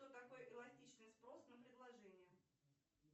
кто такой эластичный спрос на предложение